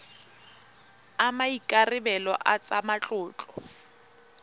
a maikarebelo a tsa matlotlo